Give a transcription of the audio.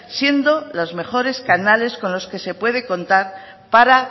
siendo los mejores canales con los que se puede contar para